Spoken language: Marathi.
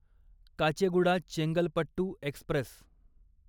काचेगुडा चेंगलपट्टू एक्स्प्रेस